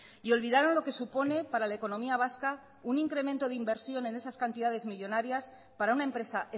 y olvidaron lo que supone para la economía vasca un incremento de inversión en esas cantidades millónarias para una empresa